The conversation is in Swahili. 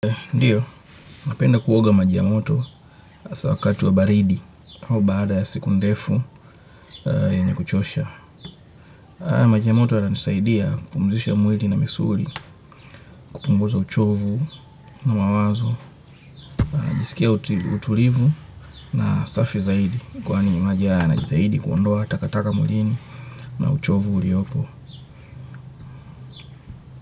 Ndiyo, napenda kuoga maji ya moto hasa wakati wa baridi au baada ya siku ndefu yenye kuchosha. Majia ya moto yananisaidia kupumuzisha mwili na misuli kupunguza uchovu na mawazo njisikia utulivu na safi zaidi kwani maji yana zaidi kuondoa takataka mwilini na uchovu uliopo.